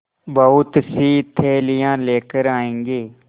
बहुतसी थैलियाँ लेकर आएँगे